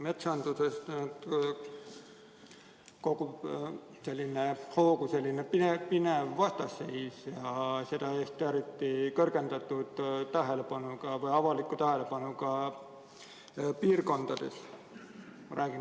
Metsanduses kogub hoogu selline pinev vastasseis, ja seda just kõrgendatud avaliku huviga piirkondadega seoses.